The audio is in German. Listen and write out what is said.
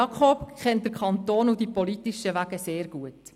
Jakob Etter kennt den Kanton und die politischen Wege sehr gut.